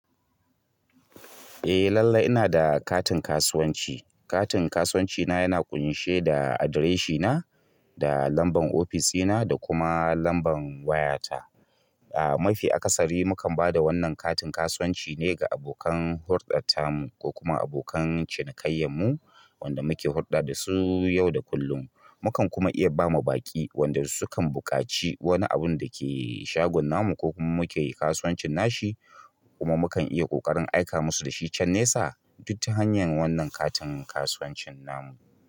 Eh lallai ina da katin kasuwanci. Katin kasuwanci na yana ƙunshe da adireshina, da lambar ofis dina da kuma lambar wayata. A mafi akasari mukan ba da wannan katin kasuwanci ne ga abokan hurɗar tamu ko kuma abokan cinikayyanmu wanda muke hurɗa da su yau da kullum. Mukan kuma iya ba ma baƙi wanda su kan buƙaci wani abun dake shagon namu ko kuma muke yi kasuwancin nashi kuma mukan iya ƙoƙarin aika musu da shi can nesa, duk ta hanyar wannan katin kasuwancin namu.